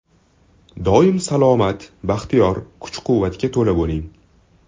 Doim salomat, baxtiyor, kuch-quvvatga to‘la bo‘ling!